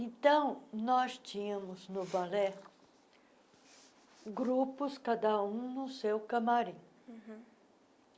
Então, nós tínhamos no balé grupos cada um no seu camarim. uhum